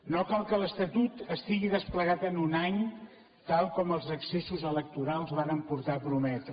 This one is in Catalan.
no cal que l’estatut estigui desplegat en un any tal com els excessos electorals varen portar a prometre